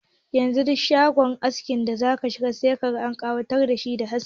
Yanzu duk shagon askin da zaka shiga sai ka an ƙawatar dashi da haske.